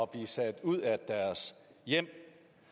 blive sat ud af deres hjem